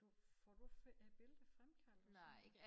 Du får du øh billeder fremkaldt og sådan noget